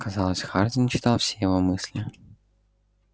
казалось хардин читал все его мысли